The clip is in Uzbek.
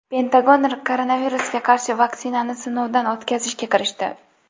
Pentagon koronavirusga qarshi vaksinani sinovdan o‘tkazishga kirishdi.